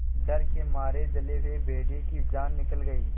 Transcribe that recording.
डर के मारे जले हुए भेड़िए की जान निकल गई